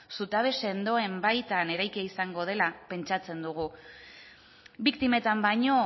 zutabe sendoen baita eraikian izango dela pentsatzen dugu biktimetan baino